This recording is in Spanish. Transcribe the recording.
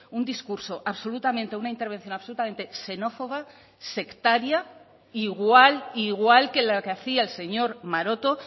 un discurso absolutamente una intervención absolutamente xenófoba sectaria igual igual que la que hacía el señor maroto